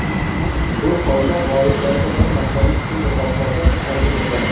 Bu holda g‘oliblarga bir martalik pul mukofoti taqdim etiladi.